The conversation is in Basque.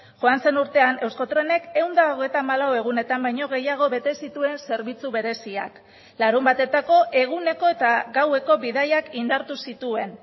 joan zen urtean euskotrenek ehun eta hogeita hamalau egunetan baino gehiago bete zituen zerbitzu bereziak larunbatetako eguneko eta gaueko bidaiak indartu zituen